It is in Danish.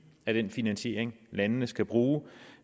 af den finansiering landene skal bruge og